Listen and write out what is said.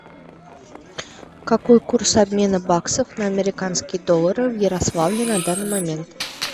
какой курс обмена баксов на американские доллары в ярославле на данный момент